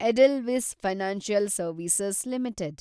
Edelweiss financial service limited